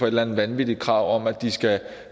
eller andet vanvittigt krav om at de skal